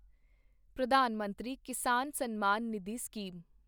Pradhan Mantri Kisan Samman Nidhi scheme